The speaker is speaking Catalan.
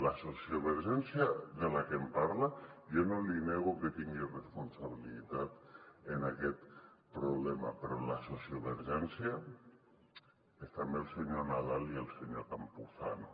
la sociovergència de la que em parla jo no li nego que tingui responsabilitat en aquest problema però la sociovergència és també el senyor nadal i el senyor campuzano